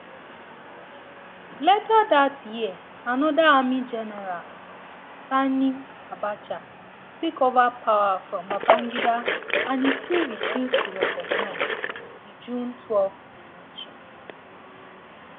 later dat year anoda army general sani um abacha take ova power from babangida and e still refuse to recognise um di june twelve election